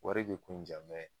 Wari bi ko in ja